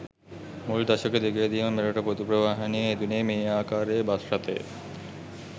මුල් දශක දෙකේදීම මෙරට පොදු ප්‍රවාහනයේ යෙදුණේ මේ ආකාරයේ බස් රථය.